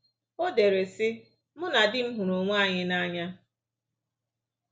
O dere, sị: “Mụ na di m hụrụ onwe anyị n’anya